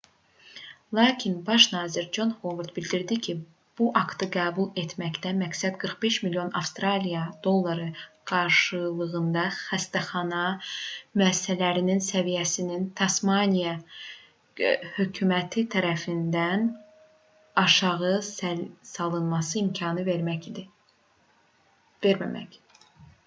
lakin baş nazir con hovard bildirdi ki bu aktı qəbul etməkdə məqsəd 45 milyon avstraliya dolları qarşılığında xəstəxana müəssisələrinin səviyyəsinin tasmaniya hökuməti tərəfindən aşağı salınmasına imkan verməmək idi